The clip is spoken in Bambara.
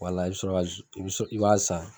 Wala i bɛ sɔrɔ ka i bɛ i b'a san